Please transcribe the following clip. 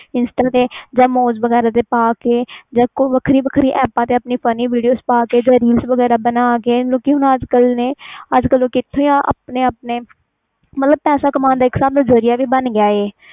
ਇਸ ਤਰਾਂ insta ਜਾ moj ਵੈਗਰਾ ਤੇ ਪਾ ਕੇ ਵੱਖਰੀ ਵੱਖਰੀ ਐਪਾ ਤੇ ਪਾ ਕੇ funny video ਪਾਕੇ reels ਵਗੈਰਾ ਬਣਾ ਕੇ ਮਤਬਲ ਪੈਸੇ ਕਾਮਣ ਜਰਿਆ ਬਣ ਗਿਆ